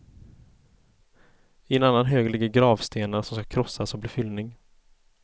I en annan hög ligger gravstenar, som skall krossas och bli fyllning.